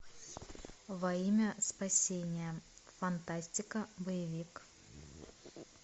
во имя спасения фантастика боевик